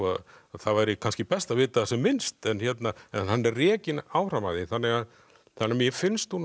það væri kannski best að vita sem minnst en hann er rekinn áfram af því þannig að mér finnst hún